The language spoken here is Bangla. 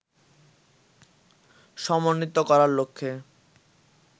সমন্বিত করার লক্ষ্যে